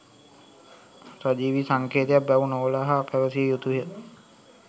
සජීවී සංකේතයක් බැව් නොවළහා පැවසිය යුතුය